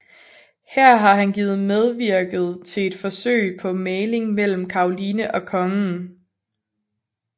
Har her givet medvirket til et forsøg på mægling mellem Caroline og Kongen